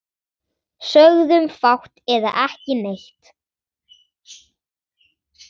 Sögðum fátt eða ekki neitt.